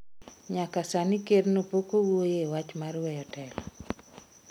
Nyaka sani ker no pokowuoye wach mar weyo telo